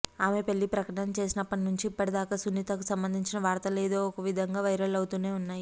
ఆమె పెళ్లి ప్రకటన చేసినప్పటి నుంచి ఇప్పటిదాకా సునీతకు సంబంధించిన వార్తలు ఏదో ఒక విధంగా వైరల్ అవుతూనే ఉన్నాయి